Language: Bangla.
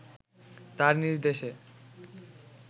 তার নির্দেশে